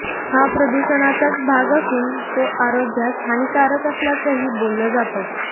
हा प्रदुषणाचाच भाग असून तो आरोग्यास हानीकारक असल्याचंही बोललं जातं